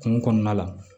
Kungo kɔnɔna la